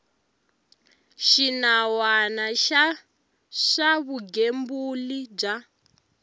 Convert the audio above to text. xinawana xa swa vugembuli bya